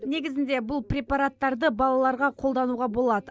негізінде бұл препараттарды балаларға қолдануға болады